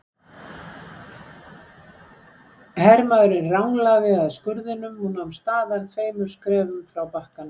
Hermaðurinn ranglaði að skurðinum og nam staðar tveimur skrefum frá bakkanum.